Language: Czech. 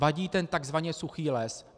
Vadí ten tzv. suchý les.